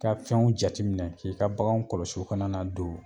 I ka fɛnw jateminɛ na k'i ka baganw kɔlɔsi u kana na don